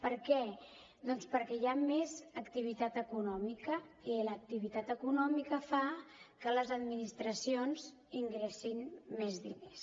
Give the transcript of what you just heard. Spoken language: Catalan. per què doncs perquè hi ha més activitat econòmica i l’activitat econòmica fa que les administracions ingressin més diners